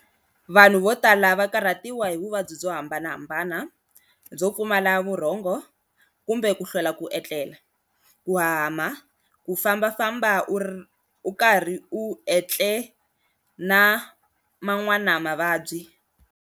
Vanhu votala va karhatiwa hi vuvabyi byo hambanahambana byo pfumala vurhongo kumbe ku kuhlwela ku etlela, ku hahama, kufamba famba ukarhi u etle na man'wana mavabyi.